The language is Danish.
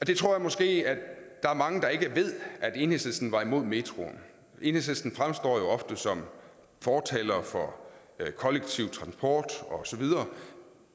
jeg tror måske der er mange der ikke ved at enhedslisten var imod metroen enhedslisten fremstår jo ofte som fortalere for kollektiv transport osv